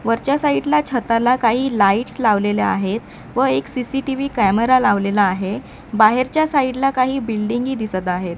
वरच्या साईड ला छताला काही लाइट्स लावलेल्या आहेत व एक सी_सी_टी_व्ही कॅमेरा लावलेला आहे बाहेरच्या साईड ला काही बिल्डिंग ही दिसत आहेत.